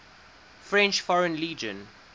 french foreign legion